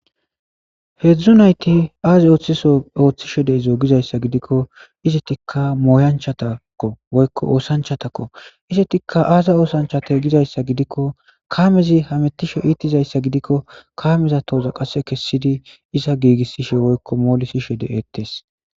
Hedzdzu nayti ay othishe de'izo gikko izetika moyanchako woyko osanchatakko izetika aza osanchate gizaysaegidikko kamezi hamutishe ittizaysa gidiko kameza toza qase kesidi izaegigisidi molisishe de'etes